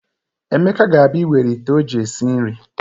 Emeka ga-abịa ịwere ite o ji esi nri.